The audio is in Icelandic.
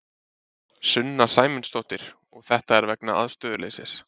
Sunna Sæmundsdóttir: Og þetta er vegna aðstöðuleysis?